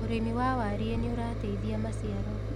ũrĩmi wa warie nĩurateithia maciaro